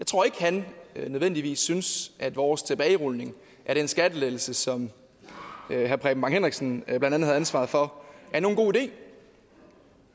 tror at han nødvendigvis synes at vores tilbagerulning af den skattelettelse som herre preben bang henriksen blandt andet havde ansvaret for er nogen god idé